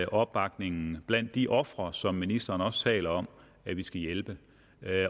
opbakningen blandt de ofre som ministeren også taler om at vi skal hjælpe